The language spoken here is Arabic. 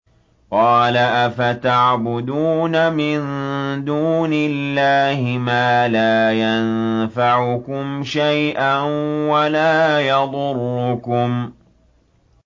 قَالَ أَفَتَعْبُدُونَ مِن دُونِ اللَّهِ مَا لَا يَنفَعُكُمْ شَيْئًا وَلَا يَضُرُّكُمْ